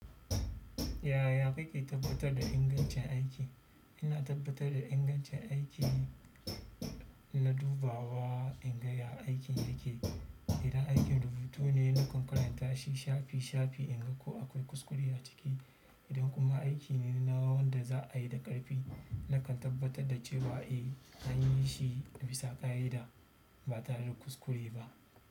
Yaya kake tabbatar da ingancin aiki? Ina tabbatar da ingancin aiki, ina dubawa in ga ya aikin yake. Idan aikin rubutu ne, na kan karanta shi shafi shafi in ga ko akwai kuskure a ciki. Idan kuma aiki ne na wanda za a yi da ƙarfi, nakan tabbatar da cewa eh an yi shi bisa ƙa'ida ba tare da kuskure ba.